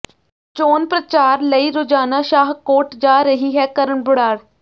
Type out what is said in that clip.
ਚੋਣ ਪ੍ਰਚਾਰ ਲਈ ਰੋਜ਼ਾਨਾ ਸ਼ਾਹਕੋਟ ਜਾ ਰਹੀ ਹੈ ਕਰਨ ਬਰਾੜ